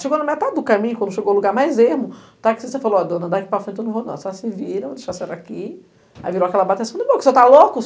Chegou na metade do caminho, quando chegou ao lugar mais ermo, o táxista falou, ó, dona, dá aqui para frente, eu não vou não, só se vira, vou deixar a senhora aqui, aí virou aquela e falei, você está louco?